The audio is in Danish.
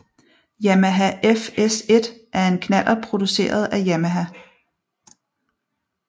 Yamaha FS1 er en knallert produceret af Yamaha